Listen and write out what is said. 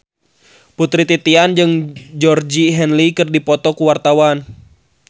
Putri Titian jeung Georgie Henley keur dipoto ku wartawan